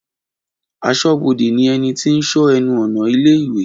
Aṣọ́bodè ni ẹnití ń sọ ẹnu ọ̀nà ilé ìwé